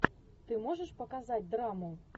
ты можешь показать драму